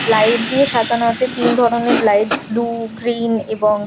light দিয়ে সাজানো আছে তিন ধরনের লাইট ব্লু গ্রিন এবং--